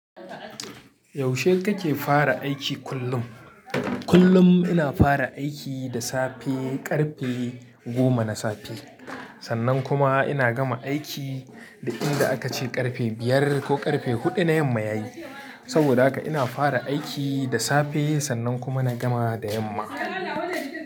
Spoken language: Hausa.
Yaushe kake fara aiki kullum? Kullum ina fara aiki da safe ƙarfe goma na safe, sannan kuma ina gama aiki duk inda aka ce ƙarfe biyar ko ƙarfe huɗu na yamma yayi. Saboda haka ina fara aiki da safe sannan kuma na gama da yamma.